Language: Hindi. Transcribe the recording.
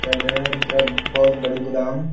कैंटीन के तरफ बहुत बड़ी गोदाम --